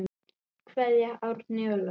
Kveðja, Árný og Logi.